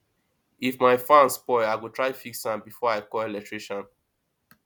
if my fan spoil i go try fix am before i call electrician